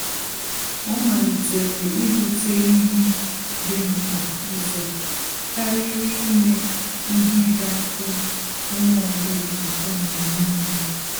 Ọ́ màlị́tèrè íbùtè ihe dị̀ mkpa ụzọ kàrị́rị́ ímé ihe gà-àtọ́ onye ọ bụla ụ́tọ́ mgbe nìile.